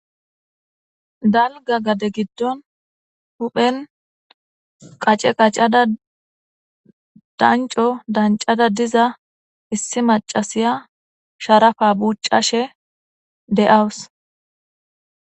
Dalga gade giddon huphen qace qacada danco dancada diza issi macasiya sharafa bucashe de'awus.